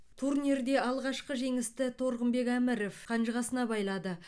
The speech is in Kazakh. турнирде алғашқы жеңісті торғынбек әміров қанжығасына байлады